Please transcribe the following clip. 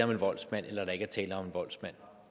vi konstatere